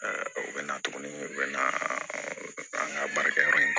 u bɛ na tuguni u bɛ na an ka baarakɛ yɔrɔ in